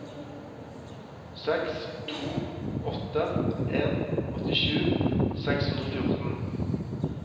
seks to åtte en åttisju seks hundre og fjorten